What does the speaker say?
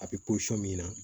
A bɛ min na